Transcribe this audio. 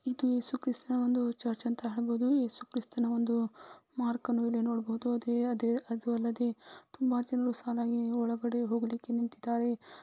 ಇದು ಯೇಸುಕ್ರಿಸ್ತನ ಒಂದು ಚರ್ಚ್ ಅಂತಾ ಹೇಳಬಹುದು . ಯೇಸುಕ್ರಿಸ್ತನ ಒಂದು ಮಾರ್ಕ್ ಅನ್ನು ನೋಡಬಹುದು .ಅದೇ ಅದು ಅಲ್ಲದೆ ತುಂಬಾ ಜನರು ಸಾಲಾಗಿ ಒಳಗೆ ಹೋಗಲಿಕ್ಕೆ ನಿಂತಿದ್ದಾರೆ .